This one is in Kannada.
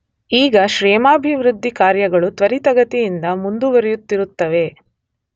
ಈಗ ಕ್ಷೇಮಾಭಿವೃದ್ಧಿ ಕಾರ್ಯಗಳು ತ್ವರಿತಗತಿಯಿಂದ ಮುಂದುವರಿಯುತ್ತಿರುತ್ತವೆ.